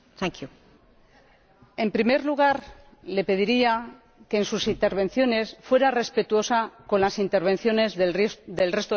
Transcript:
En primer lugar, le pediría que, en sus intervenciones, fuera respetuosa con las intervenciones del resto de los miembros de este Parlamento.